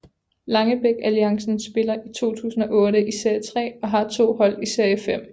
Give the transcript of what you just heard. Langebæk Alliancen spiller i 2008 i serie 3 og har to hold i serie 5